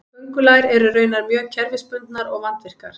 köngulær eru raunar mjög kerfisbundnar og vandvirkar